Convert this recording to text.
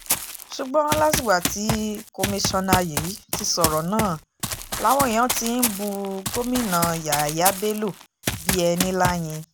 ṣùgbọ́n látìgbà tí kọmiṣanna yìí ti sọ̀rọ̀ náà làwọn èèyàn ti ń bu gómìnà yàyà bello bí ẹni láyín